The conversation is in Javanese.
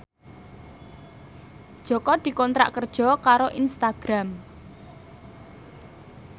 Jaka dikontrak kerja karo Instagram